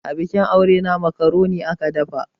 Abikin aure na makaroni aka dafa.